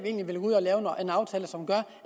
vil ud og lave en aftale som gør